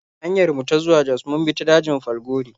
A hanyar mu ta zuwa Jos mun bi ta dajin Falgore.